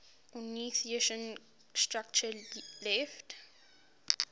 ornithischian structure left